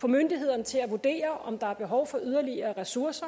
få myndighederne til at vurdere om der er behov for yderligere ressourcer